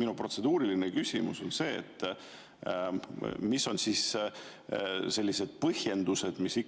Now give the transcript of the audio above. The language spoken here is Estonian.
Minu protseduuriline küsimus on: mis on need põhjendused, mis